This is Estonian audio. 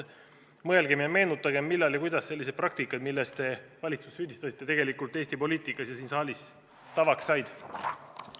Mõelgem ja meenutagem, millal ja kuidas sellised praktikad, milles te valitsust süüdistasite, tegelikult Eesti poliitikas ja siin saalis tavaks said.